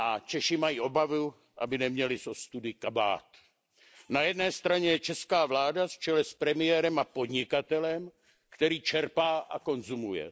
Češi mají obavu, aby neměli z ostudy kabát. Na jedné straně je česká vláda v čele s premiérem a podnikatelem, který čerpá a konzumuje.